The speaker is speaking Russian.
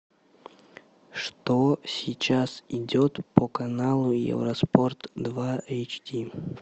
что сейчас идет по каналу евроспорт два эйч ди